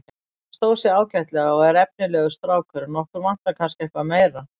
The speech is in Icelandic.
Hann stóð sig ágætlega og er efnilegur strákur en okkur vantar kannski eitthvað meira.